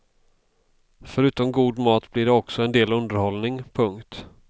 Förutom god mat blir det också en del underhållning. punkt